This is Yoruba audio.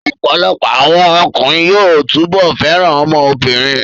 Ọ̀pọ̀lọpọ̀ àwọn ọkùnrin yóò túbọ̀ fẹ́ràn ọmọ obìnrin